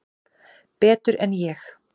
Betur en ég?